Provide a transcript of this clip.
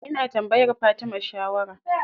Ina tambayar Fatima shawara.